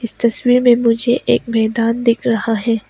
तस्वीर में मुझे एक मैदान दिख रहा है।